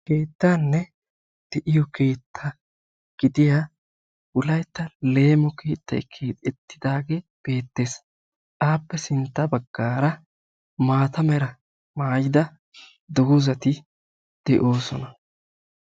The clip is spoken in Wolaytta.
keettaanne leemo keeta gidiya wolaytta leemo keettay keexetidaagee beetees. appe sintt a bagaara maata mala meray de'iyo dozati beetoosona.